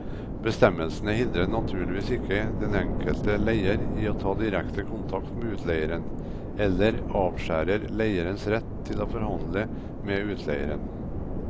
Bestemmelsene hindrer naturligvis ikke den enkelte leier i å ta direkte kontakt med utleieren, eller avskjærer leierens rett til å forhandle med utleieren.